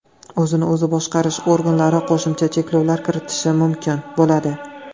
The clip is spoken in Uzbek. O‘zini o‘zi boshqarish organlari qo‘shimcha cheklovlar kiritishi mumkin bo‘ladi.